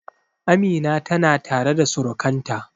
Amina tana tare da surukanta